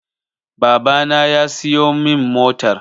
Baba na ya siyo min motar